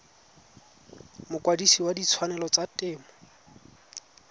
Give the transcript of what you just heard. mokwadise wa ditshwanelo tsa temo